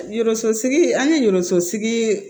Yɔso sigi an ye yɔrɔso ye